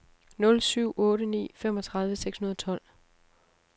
nul syv otte ni femogtredive seks hundrede og tolv